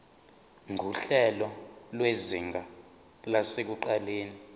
nguhlelo lwezinga lasekuqaleni